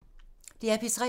DR P3